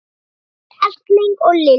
Ásgeir Erling og Lilja.